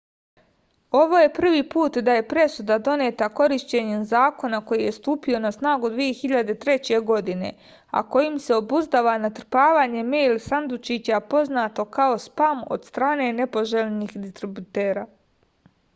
ovo je prvi put da je presuda doneta korišćenjem zakona koji je stupio na snagu 2003. godine a kojim se obuzdava natrpavanje mejl sandučića poznato kao spam od strane nepoželjnih distributera